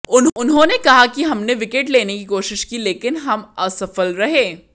उन्होंने कहा कि हमने विकेट लेने की कोशिश की लेकिन हम असफल रहे